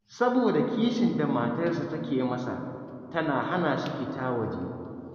Saboda kishin da matarsa take masa, tana hana shi fita waje.